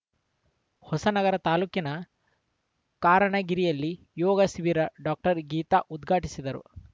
ಹೊಸನಗರ ತಾಲೂಕಿನ ಕಾರಣಗಿರಿಯಲ್ಲಿ ಯೋಗ ಶಿಬಿರ ಡಾಕ್ಟರ್ ಗೀತಾ ಉದ್ಘಾಟಿಸಿದರು